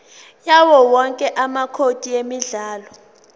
yawowonke amacode emidlalo